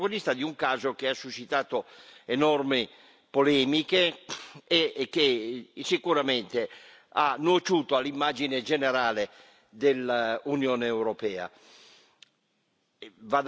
una figura che è stata protagonista di un caso che ha suscitato enormi polemiche e che sicuramente ha nuociuto all'immagine generale dell'Unione europea.